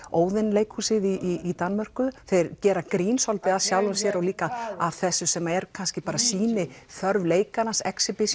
Óðin leikhúsið í Danmörku þeir gera grín svolítið að sjálfum sér og líka þessu sem er kannski sýniþörf leikarans